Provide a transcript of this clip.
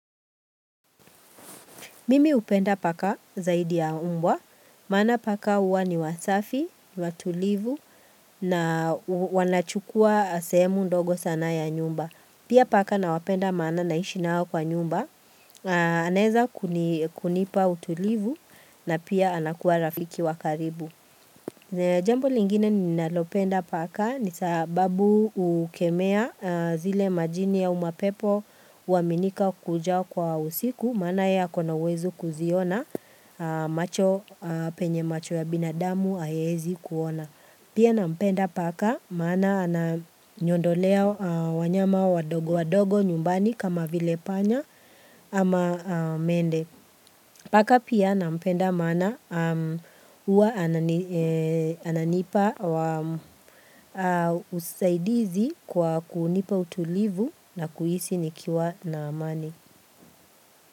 Mimi upenda paka zaidi ya umbwa, maana paka huwa ni wasafi, watulivu na wanachukua sehemu ndogo sana ya nyumba. Pia paka na wapenda maana naishinao kwa nyumba, anaeza kunipa utulivu na pia anakuwa rafiki wa karibu. Jambo lingine ninalopenda paka ni sababu ukemea zile majini au mapepo huaminika kuja kwa usiku Maana ye akona uwezuo kuziona penye macho ya binadamu haiezi kuona Pia nampenda paka maana ananiondolea wanyama wadogo wadogo nyumbani kama vile panya ama mende Paka pia nampenda maana huwa ananipa usaidizi kwa kunipa utulivu na kuhisi nikiwa na amani.